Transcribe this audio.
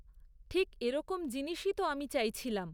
ঠিক এরকম জিনিসই তো আমি চাইছিলাম!